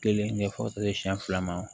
Kelen ɲɛfɔlen siɲɛ fila ma